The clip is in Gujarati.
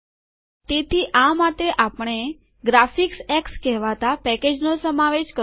તેથી આ માટે આપણે ગ્રફિકસએક્સ કહેવાતા પેકેજનો સમાવેશ કરવો પડશે